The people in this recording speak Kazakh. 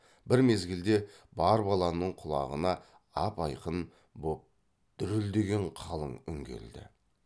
бір мезгілде бар баланың құлағына ап айқын боп дүрілдеген қалың үн келді